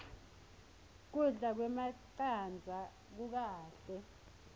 kudla kwemacandza kukahle